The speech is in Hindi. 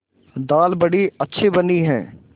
दाल बड़ी अच्छी बनी है